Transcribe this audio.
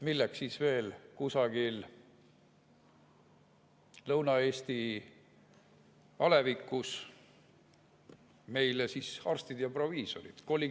Milleks siis veel kusagil Lõuna-Eesti alevikus meile arstid ja proviisorid?